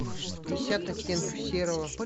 пятьдесят оттенков серого